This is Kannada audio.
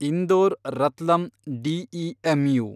ಇಂದೋರ್ ರತ್ಲಂ ಡಿಇಎಮ್‌ಯು